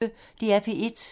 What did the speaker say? DR P1